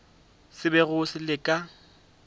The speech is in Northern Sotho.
se bego se le ka